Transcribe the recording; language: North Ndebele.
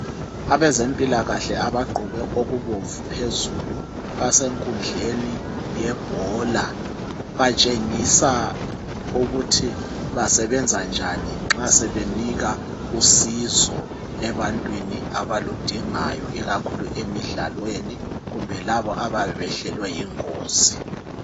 Abezempilakahle abagqoke okubomvu phezulu. Basenkundleni yebhola. Batshengisa ukuthi basebenza njani nxa sebenika usizo ebantwini abaludingayo. lkakhulu emidlalweni, kumbe labo abayabe behlelwe yingozi.